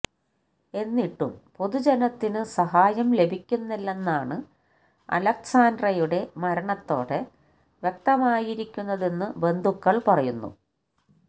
എന്നിട്ടും പൊതുജനത്തിനു സഹായം ലഭിക്കുന്നില്ലെന്നാണ് അലെക്സാന്ദ്രയുടെ മരണത്തോടെ വ്യക്തമായിരിക്കുന്നതെന്നു ബന്ധുക്കൾ പറയുന്നു